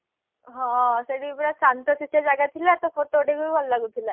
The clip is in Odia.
ହଁ ସେଇଠିପୁରା ଶାନ୍ତଶିଷ୍ଟ ଜାଗା ଥିଲା ତ photo ଉଠେଇବାକୁ ଭଲ ଲାଗୁଥିଲା